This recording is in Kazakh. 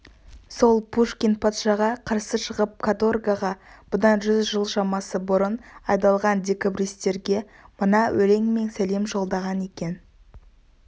сол пушкин патшаға қарсы шығып каторгаға бұдан жүз жыл шамасы бұрын айдалған декабристерге мына өлеңмен сәлем жолдаған екен